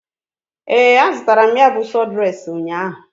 Ee, azụtara m ya bụ sọdụres ụnyaahụ.